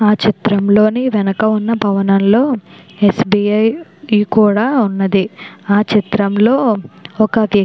ఆ చిత్రంలో వెనుక ఉన్న భవనంలో ఎస్బిఐ కూడా ఉన్నది ఆ చిత్రంలో ఒక వ్యక్తి --